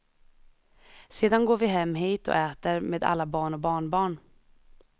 Sedan går vi hem hit och äter med alla barn och barnbarn.